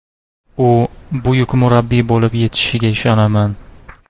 U buyuk murabbiy bo‘lib yetishishiga ishonaman.